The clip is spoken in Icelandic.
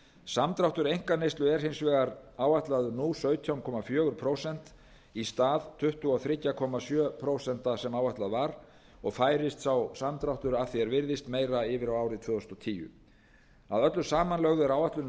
samdráttur einkaneyslu er hins vegar áætlaður nú sautján komma fjögur prósent í stað tuttugu og þrjú komma sjö prósent sem áætlað var og færist sá samdráttur að því er virðist meira yfir á árið tvö þúsund og tíu að öllu samanlögðu er áætlun um